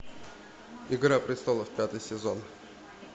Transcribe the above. игра престолов пятый сезон